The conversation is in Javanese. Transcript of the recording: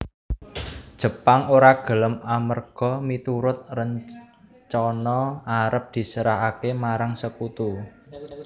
Jepang ora gelem amerga miturut rencana arep diserahaké marang Sekutu